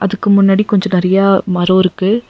அதுக்கு முன்னாடி கொஞ்சோ நெறைய மரோ இருக்கு.